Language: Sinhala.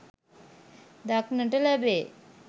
දක්නට ලැබේ.